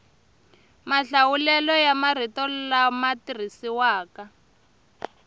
mahlawulelo ya marito lama tirhisiwaka